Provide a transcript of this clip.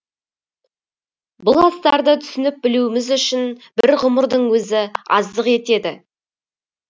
бұл астарды түсініп білуіміз үшін бір ғұмырдың өзі аздық етеді